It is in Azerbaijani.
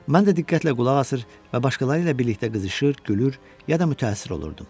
Mən də diqqətlə qulaq asır və başqaları ilə birlikdə qızışır, gülür, ya da mütəəssir olurdum.